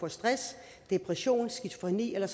af stress depression skizofreni eller